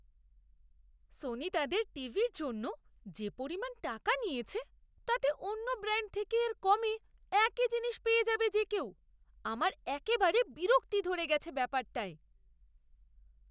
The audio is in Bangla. সোনি তাদের টিভির জন্য যে পরিমাণ টাকা নিয়েছে তাতে অন্য ব্র্যাণ্ড থেকে এর কমে একই জিনিস পেয়ে যাবে যে কেউ, আমার একেবারে বিরক্তি ধরে গেছে ব্যাপারটায়!